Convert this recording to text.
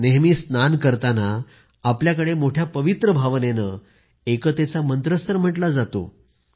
नेहमी स्नान करताना आपल्याकडे मोठ्या पवित्र भावनेने एकतेचा मंत्रच तर म्हटला जातो